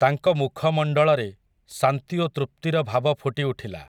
ତାଙ୍କ ମୁଖମଣ୍ଡଳରେ, ଶାନ୍ତି ଓ ତୃପ୍ତିର ଭାବ ଫୁଟି ଉଠିଲା ।